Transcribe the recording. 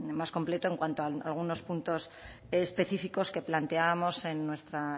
más completo en cuanto a algunos puntos específicos que planteábamos en nuestra